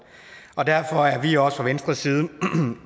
og derfor er vi også fra venstres side